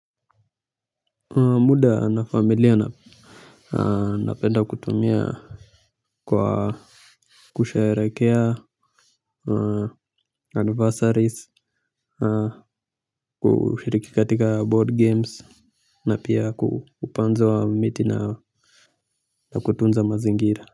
Muda na familia napenda kutumia kwa kusheherekea anniversaries kushiriki katika board games na pia upanzi wa miti na kutunza mazingira.